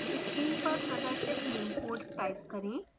screen पर प्रदर्शित निम्न code type करें